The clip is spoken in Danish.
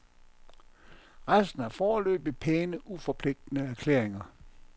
Resten er foreløbig pæne uforpligtende erklæringer.